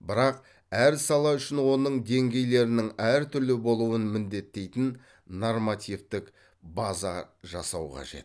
бірақ әр сала үшін оның деңгейлерінің әртүрлі болуын міндеттейтін нормативтік база жасау қажет